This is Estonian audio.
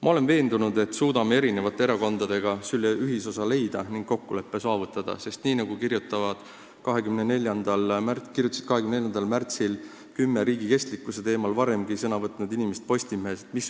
Ma olen veendunud, et suudame eri erakondadega selle ühisosa leida ning kokkuleppe saavutada, sest mis võiks olla veel tähtsam kui rahvastikupoliitika, nagu kirjutasid 24. märtsil kümme riigi kestlikkuse teemal varemgi sõna võtnud inimest Postimehes.